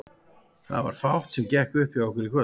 Það var fátt sem gekk upp hjá okkur í kvöld.